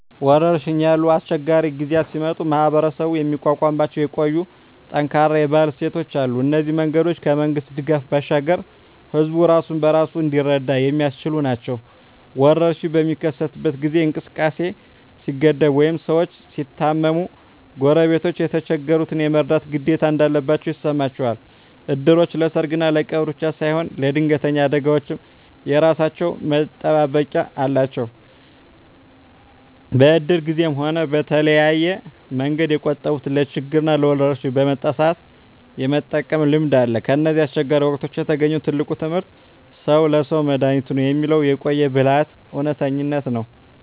ወረርሽኝ ያሉ አስቸጋሪ ጊዜያት ሲመጡ ማኅበረሰቡ የሚቋቋምባቸው የቆዩና ጠንካራ የባህል እሴቶች አሉ። እነዚህ መንገዶች ከመንግሥት ድጋፍ ባሻገር ሕዝቡ ራሱን በራሱ እንዲረዳ የሚያስችሉ ናቸው። ወረርሽኝ በሚከሰትበት ጊዜ እንቅስቃሴ ሲገደብ ወይም ሰዎች ሲታመሙ፣ ጎረቤቶች የተቸገሩትን የመርዳት ግዴታ እንዳለባቸው ይሰማቸዋል። እድሮች ለሰርግና ለቀብር ብቻ ሳይሆን ለድንገተኛ አደጋዎችም የራሳቸው መጠባበቂያ አላቸው። በእድር ጊዜም ሆነ በተለያየ መንገድ የቆጠቡትን ለችግርና ለወረርሽኝ በመጣ ሰአት የመጠቀም ልምድ አለ። ከእነዚህ አስቸጋሪ ወቅቶች የተገኘው ትልቁ ትምህርት "ሰው ለሰው መድኃኒቱ ነው" የሚለው የቆየ ብልሃት እውነተኝነት ነው።